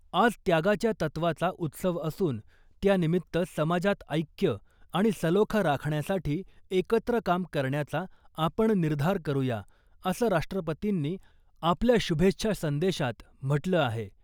आज त्यागाच्या तत्वाचा उत्सव असून , त्यानिमित्त समाजात ऐक्य आणि सलोखा राखण्यासाठी एकत्र काम करण्याचा आपण निर्धार करूया , असं राष्ट्रपतींनी आपल्या शुभेच्छा संदेशात म्हटलं आहे .